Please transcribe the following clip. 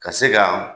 Ka se ka